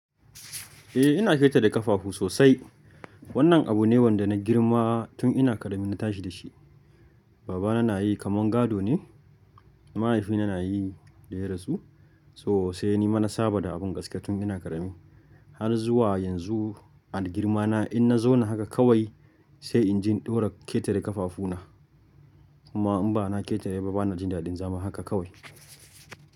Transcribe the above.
Eh ina ƙetare ƙafafu sosai. Wannan abu ne wanda na girma tun ina ƙarami na tashi da shi. Baba na na yi kaman gado ne, mahaifina na yi da ya rasu. Sosai ni mana saba da abin gaskiya tun ina ƙarami. Har zuwa yanzu a girma na in na zauna haka kawai sai in ji ɗora ƙetare ƙafafu na. Kuma in ba na ƙetare ba bana jin daɗin zama haka kawai.